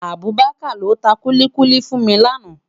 Abubakar ló tá kúlikúli fún mi làná